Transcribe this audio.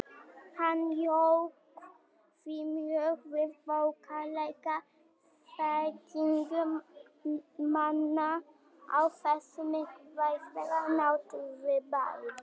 Hann jók því mjög við bóklega þekkingu manna á þessu mikilvæga náttúrufyrirbæri.